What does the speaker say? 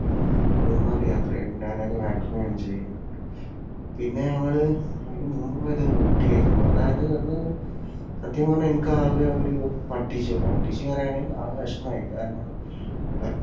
മൂന്നാർ യാത്രയായിരുന്നു. ഞാനൊക്കെ maximum enjoy ചെയ്തു. പിന്നെ ഞങ്ങൾ അതിനു മുമ്പ് പോയത് ഊട്ടിയായിരുന്നു. അതായത് അത് സത്യം പറഞ്ഞാൽ എനിക്കാകെ ഒരു എന്നു പറഞ്ഞാൽ ആകെ വിഷമമായി. കാരണം ഉം